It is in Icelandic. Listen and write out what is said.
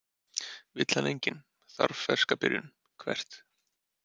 Vill hann enginn, þarf ferska byrjun Hvert?